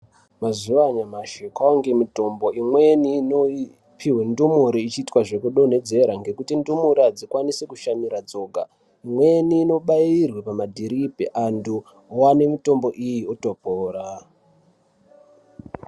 Mazuwanyashi kwange mitombo imweni inopiwe ndumure ichiita zvekudonhedzera nekuti ndumure adzikwanisi kushamira dzoga imweni inobairwe pamadhiripi antu owane mitombo iyi otopora.